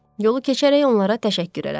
Yolu keçərək onlara təşəkkür elədim.